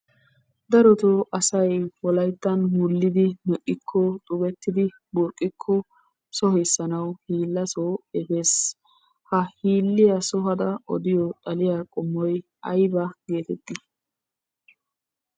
Darottoo asay wolayttan wulidi me'ikko xubettidi burqqikko sohissanawu hiilasoo efees. Ha hiilliya sohada odiyo xaliya qommoy aybaa gettetti?